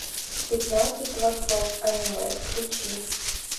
пятнадцать творцов аниме включи